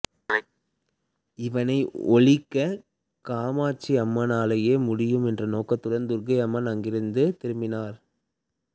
இவனை ஒழிக்க காமாட்சியம்மனாலேயே முடியும் என்ற நோக்குடன் துர்க்கை அங்கிருந்து திரும்பினார்